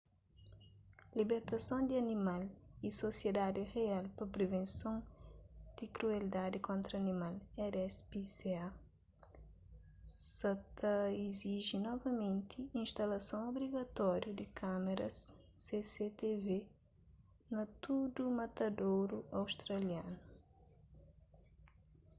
libertason di animal y sosiedadi real pa privenson di krueldadi kontra animal rspca sa ta iziji novamenti instalason obrigatóriu di kâmaras cctv na tudu matadoru australianu